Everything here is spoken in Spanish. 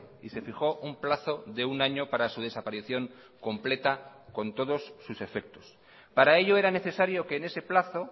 y se fijó un plazo de un año para su desaparición completa con todos sus efectos para ello era necesario que en ese plazo